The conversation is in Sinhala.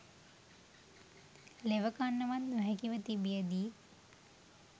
ලෙවකන්නවත් නොහැකිව තිබියදී